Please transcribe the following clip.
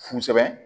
Fusɛbɛn